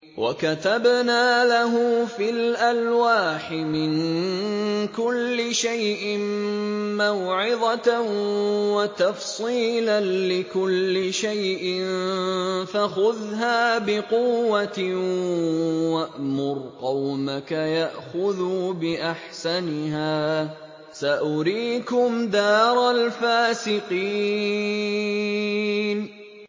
وَكَتَبْنَا لَهُ فِي الْأَلْوَاحِ مِن كُلِّ شَيْءٍ مَّوْعِظَةً وَتَفْصِيلًا لِّكُلِّ شَيْءٍ فَخُذْهَا بِقُوَّةٍ وَأْمُرْ قَوْمَكَ يَأْخُذُوا بِأَحْسَنِهَا ۚ سَأُرِيكُمْ دَارَ الْفَاسِقِينَ